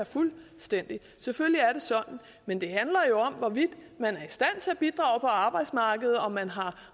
fuldstændig selvfølgelig er det sådan men det handler jo om hvorvidt man er i stand til at bidrage på arbejdsmarkedet om man har